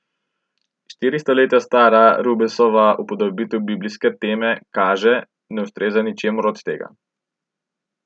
Štiri stoletja stara Rubensova upodobitev biblijske teme, kaže, ne ustreza ničemur od tega.